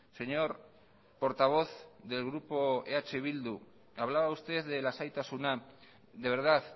señor portavoz del grupo eh bildu hablaba usted de lasaitasuna de verdad